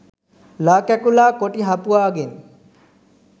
ළා කැකුළා කොටි හපුවාගෙන්